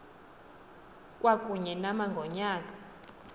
kwakunye nama ngonyaka